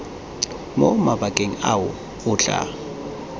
mo mabakeng ao o tla